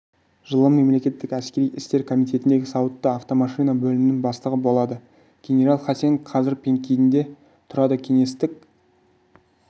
жылы мемлекеттік әскери істер комитетіндегі сауытты автомашина бөлімінің бастығы болады генерал хасен қазір пекинде тұрады кеңестік